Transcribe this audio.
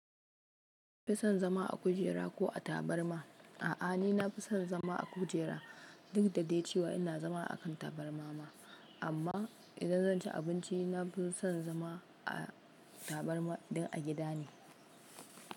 Kin fi son zama a kujera ko a tabarma? A'a, ni nafi son zama a kujera duk da dai cewa ina zama a kan tabarma ma. Amma idan zan ci abinci nafi son zama a tabarma dan a gida ne.